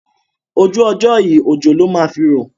Ojú ọjọ́ yìí òjò ló máa fi rọ̀.